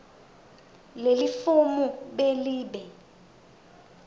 lelifomu b libe